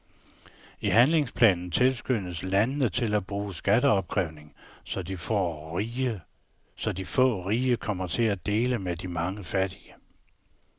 I handlingsplanen tilskyndes landene til at bruge skatteopkrævning, så de få rige kommer til at dele med de mange fattige.